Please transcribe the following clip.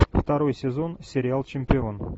второй сезон сериал чемпион